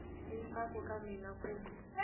i ntsako eka mina ku